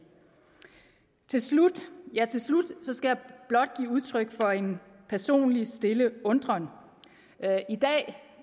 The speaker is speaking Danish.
til slut skal jeg blot give udtryk for en personlig stille undren